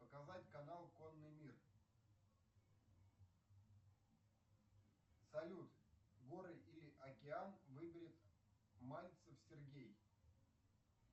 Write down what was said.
показать канал конный мир салют горы или океан выберет мальцев сергей